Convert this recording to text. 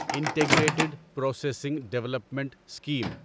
integrated processing development scheme